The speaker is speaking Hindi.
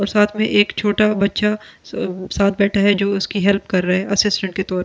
और साथ में एक छोटा बच्चा अ साथ बैठा है जो उसकी हेल्प कर रहा है असिस्टेंट के तौर पे।